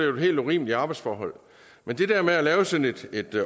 jo helt urimelige arbejdsforhold men det der med at lave sådan et